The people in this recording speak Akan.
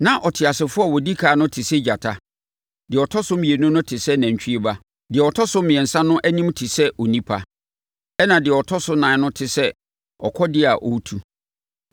Na ɔteasefoɔ a ɔdi ɛkan no te sɛ gyata; deɛ ɔtɔ so mmienu no te sɛ nantwie ba; deɛ ɔtɔ so mmiɛnsa no anim te sɛ onipa; ɛnna deɛ ɔtɔ so nan no te sɛ ɔkɔdeɛ a ɔretu.